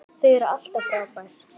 Þau eru alltaf frábær.